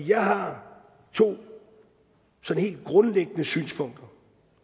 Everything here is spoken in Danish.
jeg har to sådan helt grundlæggende synspunkter